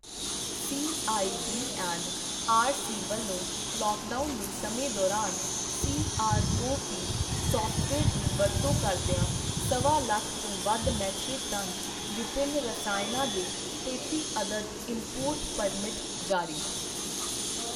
CIB and RC ਵੱਲੋਂ lockdown ਦੇ ਸਮੇਂ ਦੌਰਾਨ ਸੀਆਰਓਪੀ ਸੌਫ਼ਟਵੇਅਰ ਦੀ ਵਰਤੋਂ ਕਰਦਿਆਂ ਸਵਾ ਲੱਖ ਤੋਂ ਵੱਧ ਮੀਟ੍ਰਿਕ ਟਨ ਵਿਭਿੰਨ ਰਸਾਇਣਾਂ ਦੇ ਤੇਤੀ ਅਦਦ ਇੰਪੋਰਟ ਪਰਮਿਟ ਜਾਰੀ